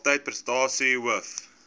kalftyd persentasie hoof